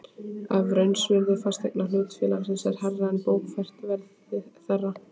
ef raunvirði fasteigna hlutafélags er hærra er bókfært verð þeirra.